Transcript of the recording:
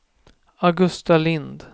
Augusta Lind